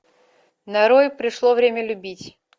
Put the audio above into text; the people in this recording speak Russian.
нарой пришло время любить